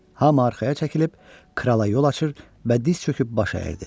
Hamı arxaya çəkilib, krala yol açır və diz çöküb baş əyirdi.